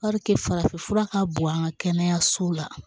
farafin fura ka bon an ka kɛnɛyasow la